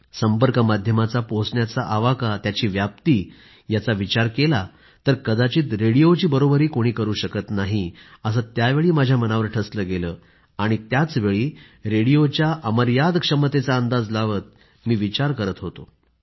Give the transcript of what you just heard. संपर्क माध्यमाचा पोहोचण्याचा आवाका त्याची व्याप्ती याचा विचार केला तर कदाचित रेडिओची बरोबरी कोणी करू शकत नाही असं त्यावेळी माझ्या मनावर ठसलं गेलं आणि त्यावेळी रेडिओच्या अमर्याद क्षमतेचा अंदाज लावत मी विचार करत होतो